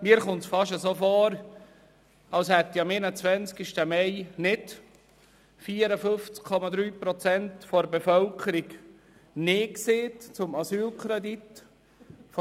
Mir kommt es fast vor, als hätten am 21. Mai nicht 54,3 Prozent der Bevölkerung Nein zum Asylkredit gesagt.